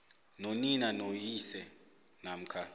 nonina noyise namkha